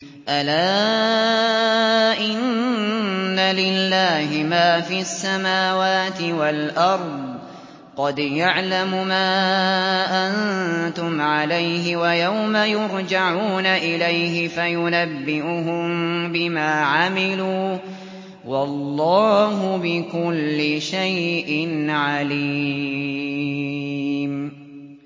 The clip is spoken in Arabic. أَلَا إِنَّ لِلَّهِ مَا فِي السَّمَاوَاتِ وَالْأَرْضِ ۖ قَدْ يَعْلَمُ مَا أَنتُمْ عَلَيْهِ وَيَوْمَ يُرْجَعُونَ إِلَيْهِ فَيُنَبِّئُهُم بِمَا عَمِلُوا ۗ وَاللَّهُ بِكُلِّ شَيْءٍ عَلِيمٌ